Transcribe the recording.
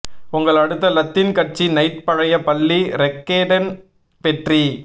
உங்கள் அடுத்த லத்தீன் கட்சி நைட் பழைய பள்ளி ரெக்கேடன் வெற்றி